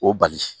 O bali